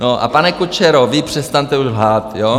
No a, pane Kučero, vy přestaňte už lhát, jo.